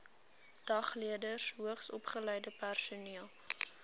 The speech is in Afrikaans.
dagleerders hoogsopgeleide personeel